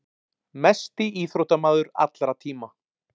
Mesti íþróttamaður allra tíma.